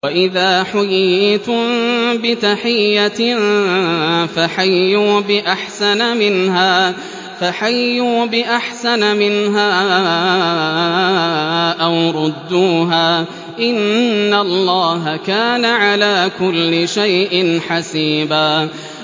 وَإِذَا حُيِّيتُم بِتَحِيَّةٍ فَحَيُّوا بِأَحْسَنَ مِنْهَا أَوْ رُدُّوهَا ۗ إِنَّ اللَّهَ كَانَ عَلَىٰ كُلِّ شَيْءٍ حَسِيبًا